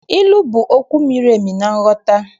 Ilu bụ okwu miri emi na nghọta.